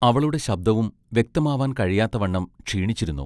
അവളുടെ ശബ്ദവും വ്യക്തമാവാൻ കഴിയാത്തവണ്ണം ക്ഷീണിച്ചിരുന്നു.